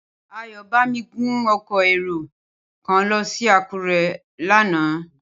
Ayọ̀bámi gun ọkọ̀ èrò kan lọ sí Àkúrẹ́ lánàá.